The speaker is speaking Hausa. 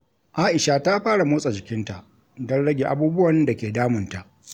Aisha ta fara motsa jikinta don rage abubuwan da ke damunta.